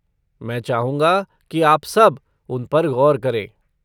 मैं चाहूंगा कि आप सब उन पर गौर करें।